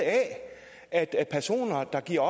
a at personer der giver